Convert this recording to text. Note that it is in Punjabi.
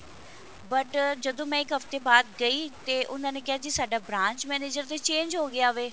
but ਜਦੋਂ ਮੈਂ ਇੱਕ ਹਫਤੇ ਬਾਅਦ ਗਈ ਤੇ ਉਹਨਾ ਨੇ ਕਿਹਾ ਜੀ ਸਾਡਾ branch manager ਤਾਂ change ਹੋ ਗਿਆ ਵੇ